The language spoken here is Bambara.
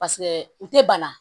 Paseke u tɛ bana